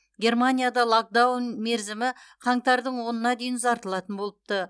германияда локдаун мерзімі қаңтардың онына дейін ұзартылатын болыпты